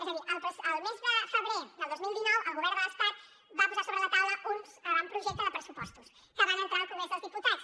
és a dir el mes de febrer del dos mil dinou el govern de l’estat va posar sobre la taula un avantprojecte de pressupostos que van entrar al congrés dels diputats